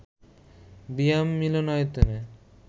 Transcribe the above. বিয়াম মিলনায়তনে